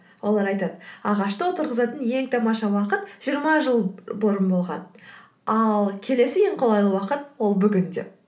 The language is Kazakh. олар айтады ағашты отырғызатын ең тамаша уақыт жиырма жыл бұрын болған ал келесі ең қолайлы уақыт ол бүгін деп